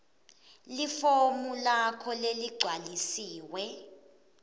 lifomu lakho leligcwalisiwe